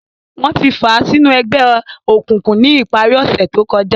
Wọn ti fàa sinu ẹgbẹ-ọkunkun ni ìpari ọsẹ to kọja.